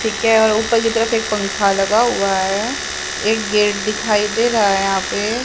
ठीक है और उपल की तरफ एक पंखा लगा हुआ है एक गेट दिखाई दे रहा है यहां पे।